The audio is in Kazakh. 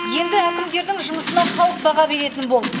енді әкімдердің жұмысына халық баға беретін болды